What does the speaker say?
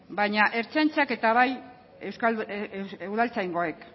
baina ertzaintzak eta bai udaltzaingoek